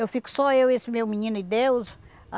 Eu fico só eu, esse meu menino e Deus.